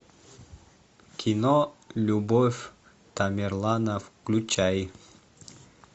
кино любовь тамерлана включай